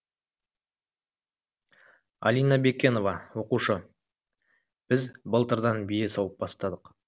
алина бекенова оқушы біз былтырдан бие сауып бастадық